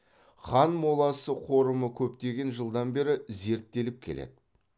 хан моласы қорымы көптеген жылдан бері зерттеліп келеді